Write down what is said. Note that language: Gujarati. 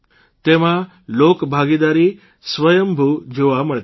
તેમાં લોકભાગીદારી સ્વંયભૂ જોવા મળતી હતી